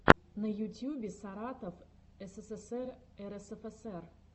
на ютюбе саратов ссср рсфср